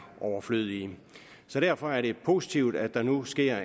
overflødige så derfor er det positivt at der nu sker